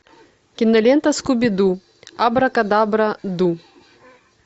кинолента скуби ду абракадабра ду